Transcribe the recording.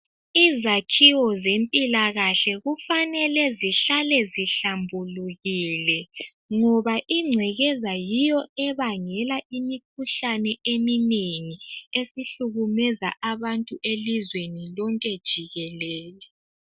Izakhiwo zempilakahle kufanele zihlale zihlambulukile, ngoba ingcekeza yiyo ebangela imikhuhlane eminengi, esihlukumeza abantu elizweni lonke jikelele.